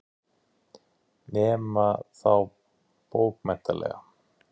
Nema þá bókmenntalega.